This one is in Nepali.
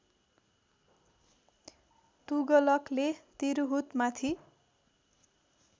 तुगलकले तिरहुतमाथि